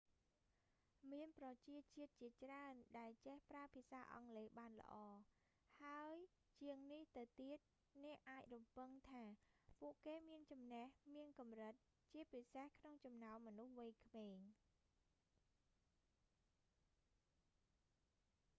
មានប្រជាជាតិជាច្រើនដែលចេះប្រើភាសាអង់គ្លេសបានល្អ ហើយជាងនេះទៅទៀត អ្នកអាចរំពឹងថា ពួកគេមានចំណេះមានកម្រិត ជាពិសេសក្នុងចំណោមមនុស្សវ័យក្មេង